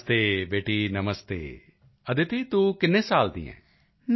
ਨਮਸਤੇ ਬੇਟੀ ਨਮਸਤੇ ਅਦਿਤੀ ਤੂੰ ਕਿੰਨੇ ਸਾਲ ਦੀ ਹੈਂ